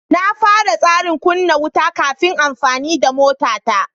Na fara tsarin kunna wuta kafin amfani da motata.